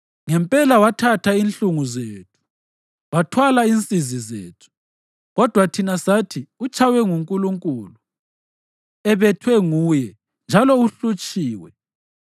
Ngempela wathatha inhlungu zethu wathwala insizi zethu, kodwa thina sathi utshaywe nguNkulunkulu, ebethwe nguye, njalo uhlutshiwe.